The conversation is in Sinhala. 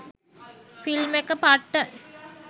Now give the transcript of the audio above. ෆිල්ම් එක පට්ට.